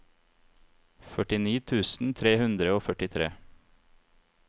førtini tusen tre hundre og førtitre